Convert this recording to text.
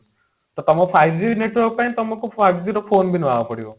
ତ ତମ five G network ପାଇଁ ତମକୁ five G ର phone ବି ନବାକୁ ପଡିବ